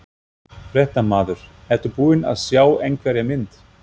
Fréttamaður: Ertu búin að sjá einhverja mynd?